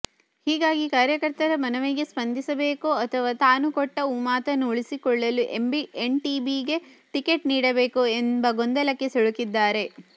ಹೀಗಾಗಿ ಕಾರ್ಯಕರ್ತರ ಮನವಿಗೆ ಸ್ಪಂದಿಸಬೇಕೋ ಅಥವಾ ತಾನು ಕೊಟ್ಟ ಮಾತನ್ನು ಉಳಿಸಿಕೊಳ್ಳಲು ಎಂಟಿಬಿಗೆ ಟಿಕೆಟ್ ನೀಡಬೇಕೋ ಎಂಬ ಗೊಂದಲಕ್ಕೆ ಸಿಲುಕಿದ್ದಾರೆ